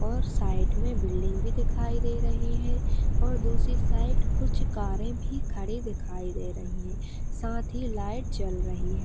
और साइड में बिल्डिंग भी दिखाई दे रही है और दूसरी साइड कुछ कारें भी खड़ी दिखाई दे रही है साथ ही लाइट जल रही है।